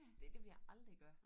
Det det ville jeg aldrig gøre